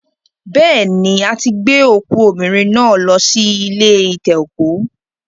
Beeni a ti gbe oku obinrin na lo si ile ite-oku